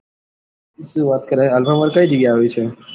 શું વાત કરે alpha mall કઈ જગ્યા એ આવ્યો છે.